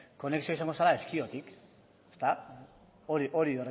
konexioa izango zela ezkiotik hori berretsi